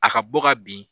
A ka bɔ ka bin